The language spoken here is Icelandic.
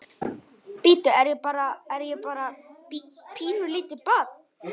Bíddu, er ég bara, er ég bara bí, pínulítið barn?